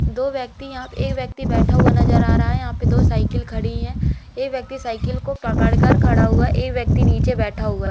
दो व्यक्ति यहां पे एक व्यक्ति बैठा हुआ नजर आ रहा है यहां पे दो साइकिल खड़ी हैं एक व्यक्ति साइकिल को पकड़ कर खड़ा हुआ एक व्यक्ति नीचे बैठा हुआ--